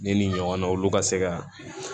Ne ni ɲɔgɔn na olu ka se ka